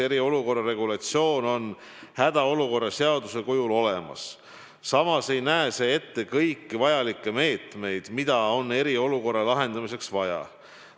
Eriolukorra regulatsioon on hädaolukorra seaduse kujul olemas, samas ei näe see ette kõiki vajalikke meetmeid, mida on eriolukorra lahendamiseks vaja.